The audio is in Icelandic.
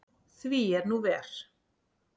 Því er nú ver.